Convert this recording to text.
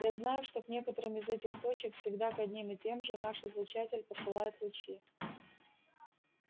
я знаю что к некоторым из этих точек всегда к одним и тем же наш излучатель посылает лучи